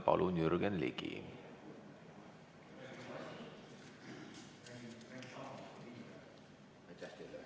Palun, Jürgen Ligi!